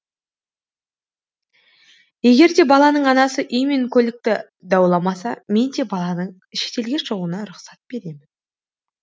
егер де баланың анасы үй мен көлікті дауламаса мен де баланың шетелге шығуына рұқсат беремін